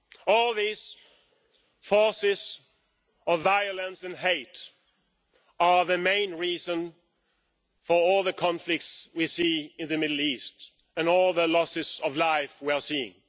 All these forces of violence and hate are the main reason for all the conflicts we see in the Middle East and all the losses of life we're seeing.